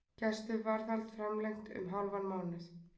Gæsluvarðhald framlengt um hálfan mánuð